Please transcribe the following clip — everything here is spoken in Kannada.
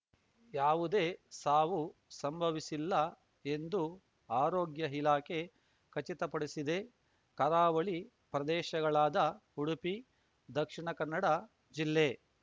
ಯಾವುದೇ ಸಾವು ಸಂಭವಿಸಿಲ್ಲ ಎಂದು ಆರೋಗ್ಯ ಇಲಾಖೆ ಖಚಿತಪಡಿಸಿದೆ ಕರಾವಳಿ ಪ್ರದೇಶಗಳಾದ ಉಡುಪಿ ದಕ್ಷಿಣ ಕನ್ನಡ ಜಿಲ್ಲೆ